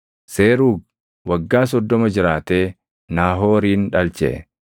Seruugi waggaa 30 jiraatee Naahoorin dhalche.